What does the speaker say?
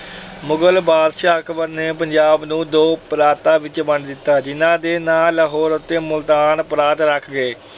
ਮੁਗਲ ਬਾਦਸ਼ਾਹ ਅਕਬਰ ਨੇ ਪੰਜਾਬ ਨੂੰ ਦੋ ਪ੍ਰਾਂਤਾਂ ਵਿੱਚ ਵੰਡ ਦਿੱਤਾ ਜਿਹਨਾਂ ਦੇ ਨਾਂ ਲਾਹੌਰ ਅਤੇ ਮੁਲਤਾਨ ਪ੍ਰਾਂਤ ਰੱਖੇ ਗਏ।